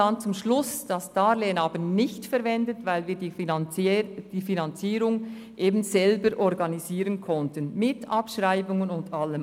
Am Schluss haben wir das Darlehen nicht verwendet, weil wir die Finanzierung selber organisieren konnten, inklusive Abschreibungen und allem.